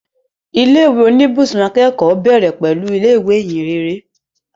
Ilé ìwé oníbùsùn akẹ́kọ̀ọ́ bẹ̀rẹ̀ pẹ̀lú ilé ìwé Ìhìnrere